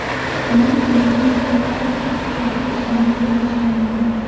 Amerika Venesuelada qurolli kuchlarni qo‘llashi mumkin.